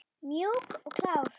Mjúk og klár!